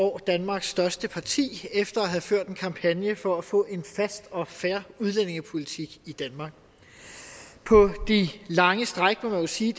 år danmarks største parti efter at have ført en kampagne for at få en fast og fair udlændingepolitik i danmark på de lange stræk må man jo sige